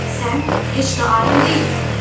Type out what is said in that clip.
Sən heç də alim deyilsən.